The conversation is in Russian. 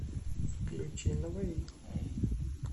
включи наваи